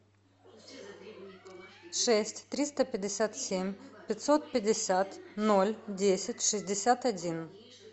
шесть триста пятьдесят семь пятьсот пятьдесят ноль десять шестьдесят один